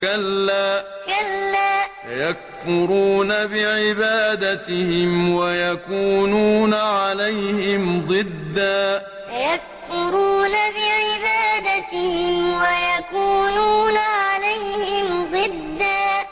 كَلَّا ۚ سَيَكْفُرُونَ بِعِبَادَتِهِمْ وَيَكُونُونَ عَلَيْهِمْ ضِدًّا كَلَّا ۚ سَيَكْفُرُونَ بِعِبَادَتِهِمْ وَيَكُونُونَ عَلَيْهِمْ ضِدًّا